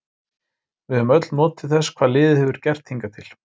Við höfum öll notið þess hvað liðið hefur gert hingað til.